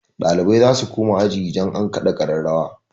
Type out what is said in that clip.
Ɗalibai zasu koma aji idan an kaɗa ƙararrawa.